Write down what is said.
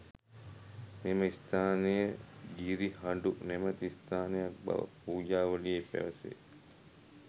මෙම ස්ථානය ගිරිහඬු නැමැති ස්ථානයක් බව පූජාවලියේ පැවැසේ.